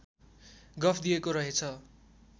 गफ दिएको रहेछ